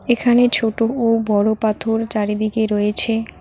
এখানে ছোট ও বড় পাথর চারিদিকে রয়েছে।